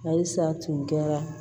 Ayi sa tun kɛra